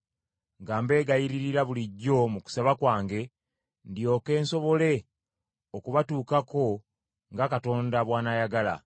nga mbegayiririra bulijjo mu kusaba kwange, ndyoke nsobole okubatuukako nga Katonda bw’anaayagala.